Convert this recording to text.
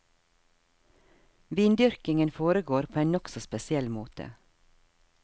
Vindyrkingen foregår på en nokså spesiell måte.